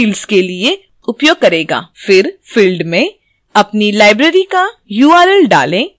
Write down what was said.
फिर field में अपनी library का url डालें जैसे मैंने यहाँ किया है